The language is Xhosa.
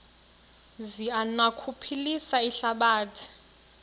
zi anokuphilisa ihlabathi